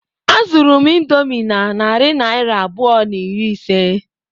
Azụru m indomie na narị naira abụọ na iri ise.